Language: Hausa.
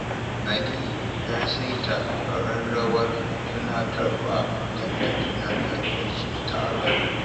Ali ya saita ƙararrawar tunatarwa don ta tunatar da shi taron